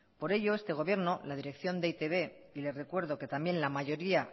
por ello este gobierno y la dirección de e i te be y les recuerdo que también la mayoría